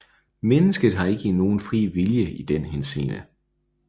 Mennesket har ikke nogen fri vilje i den henseende